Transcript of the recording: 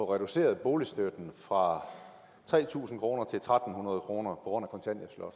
reduceret boligstøtten fra tre tusind kroner til tre hundrede kroner på grund